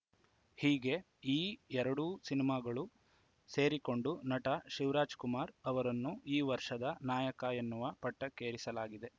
ಹೀಗೆ ಈ ಎರಡೂ ಸಿನಿಮಾಗಳು ಸೇರಿಕೊಂಡು ನಟ ಶಿವರಾಜ್‌ಕುಮಾರ್‌ ಅವರನ್ನು ಈ ವರ್ಷದ ನಾಯಕ ಎನ್ನುವ ಪಟ್ಟಕ್ಕೇರಿಸಿಸಲಾಗಿದೆ